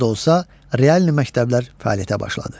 Az da olsa, realni məktəblər fəaliyyətə başladı.